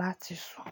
láti sùn.